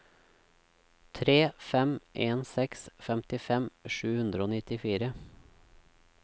tre fem en seks femtifem sju hundre og nittifire